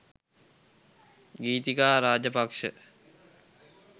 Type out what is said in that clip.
Githika Rajapaksa .